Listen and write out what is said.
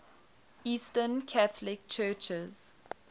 eastern catholic churches